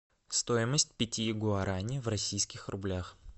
стоимость пяти гуарани в российских рублях